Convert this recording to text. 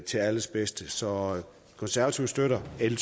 til alles bedste så konservative støtter l